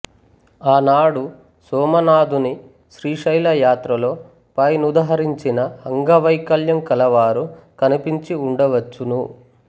ఆనాడు సోమనాథుని శ్రీశైల యాత్రలో పై నుదహరించిన అంగ వైకల్యం కలవారు కనిపించి వుండవచ్చును